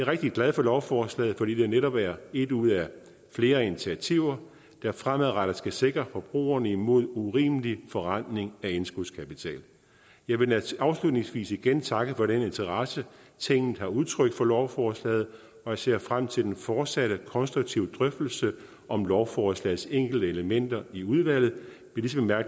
rigtig glad for lovforslaget fordi det netop er et ud af flere initiativer der fremadrettet skal sikre forbrugerne imod urimelig forrentning af indskudskapital jeg vil afslutningsvis igen takke for den interesse tinget har udtrykt for lovforslaget og jeg ser frem til den fortsatte konstruktive drøftelse om lovforslagets enkelte elementer i udvalget